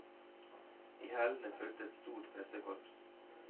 I hælene fulgte et stort pressekorps.